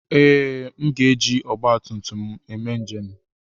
Ee, m ga-eji ọgba tum tum eme njem.